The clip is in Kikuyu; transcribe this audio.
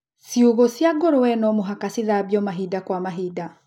Ciugũ cia ngũrũwe nomũhaka cithambio mahinda kwa mahinda.